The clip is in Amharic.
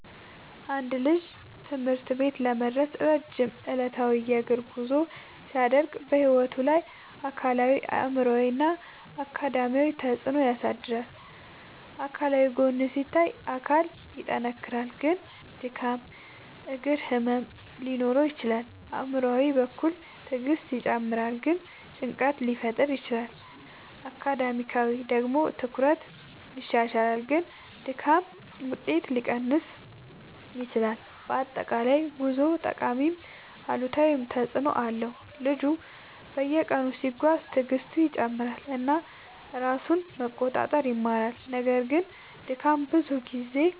አንድ ልጅ ትምህርት ቤት ለመድረስ ረጅም ዕለታዊ የእግር ጉዞ ሲያደርግ በሕይወቱ ላይ አካላዊ አእምሯዊ እና አካዳሚያዊ ተፅዕኖ ያሳድራል። አካላዊ ጎን ሲታይ አካል ይጠናከራል ግን ድካም እግር ህመም ሊኖር ይችላል። አእምሯዊ በኩል ትዕግስት ይጨምራል ግን ጭንቀት ሊፈጠር ይችላል። አካዳሚያዊ ደግሞ ትኩረት ይሻሻላል ግን ድካም ውጤት ሊቀንስ ይችላል። በአጠቃላይ ጉዞው ጠቃሚም አሉታዊም ተፅዕኖ አለው። ልጁ በየቀኑ ሲጓዝ ትዕግስቱ ይጨምራል እና ራሱን መቆጣጠር ይማራል። ነገር ግን ድካም ብዙ ጊዜ